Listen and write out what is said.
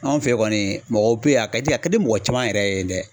Anw fɛ ye kɔni mɔgɔw bɛ yen, a ka di a ka di mɔgɔ caman yɛrɛ ye dɛ.